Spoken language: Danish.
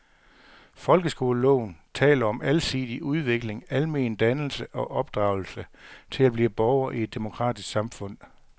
Folkeskoleloven taler om alsidig udvikling, almen dannelse og opdragelse til at blive borger i et demokratisk samfund.